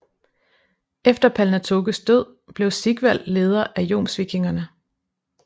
Efter Palnatokes død blev Sigvald leder af jomsvikingerne